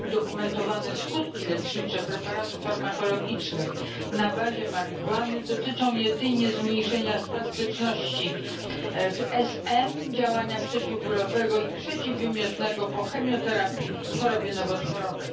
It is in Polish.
Udokumentowane skutki lecznicze preparatów farmakologicznych na bazie marihuany dotyczą jedynie zmniejszenia spastyczności w SM, działania przeciwbólowego i przeciwwymiotnego po chemioterapii w chorobie nowotworowej.